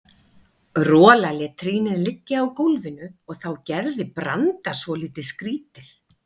Rola lét trýnið liggja á gólfinu og þá gerði Branda svolítið skrýtið.